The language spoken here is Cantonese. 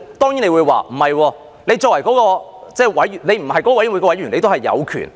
當然，有人會指，即使並非有關委員會的委員，議員仍也有權